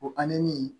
O ani nin